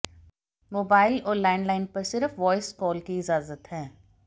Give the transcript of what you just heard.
mobile और landline पर सिर्फ वॉयस कॉल की इजाजत है